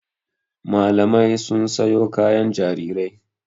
Mamalai sun sayo kayan jarirai.